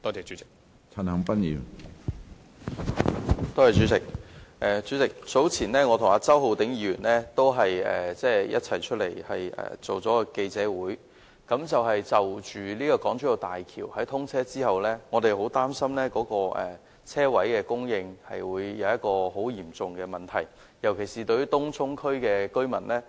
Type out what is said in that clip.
主席，我早前與周浩鼎議員曾召開記者會，我們擔心大橋通車之後，泊車位的供應將成為很嚴重的問題，尤其是對東涌居民來說。